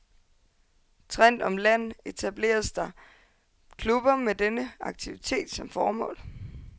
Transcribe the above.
Trindt om land etableres der klubber med denne aktivitet som formål.